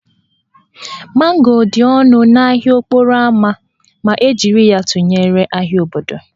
Mango dị ọnụ n'ahịa okporo ámá ma e jiri ya tụnyere ahịa obodo